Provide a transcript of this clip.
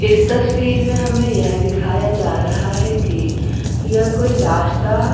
इस तस्वीर में हमें यह दिखाया जा रहा है कि यह कोई रास्ता--